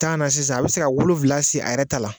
Tan na sisan a bɛ se ka wolonwula sen a yɛrɛ ta la